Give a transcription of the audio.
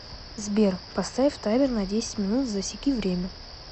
сбер поставь таймер на десять минут засеки время